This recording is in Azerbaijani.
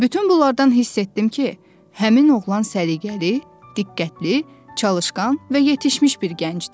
Bütün bunlardan hiss etdim ki, həmin oğlan səliqəli, diqqətli, çalışqan və yetişmiş bir gəncdir.